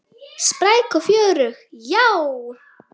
Spræk og fjörug, já.